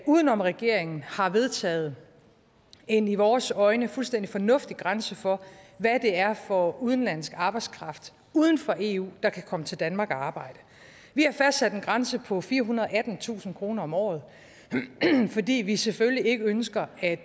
uden om regeringen har vedtaget en i vores øjne fuldstændig fornuftig grænse for hvad det er for udenlandsk arbejdskraft uden for eu der kan komme til danmark og arbejde vi har fastsat en grænse på firehundrede og attentusind kroner om året fordi vi selvfølgelig ikke ønsker at